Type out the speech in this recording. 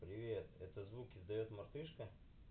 привет это звук издаёт мартышка